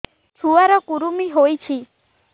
ଛୁଆ ର କୁରୁମି ହୋଇଛି